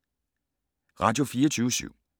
Radio24syv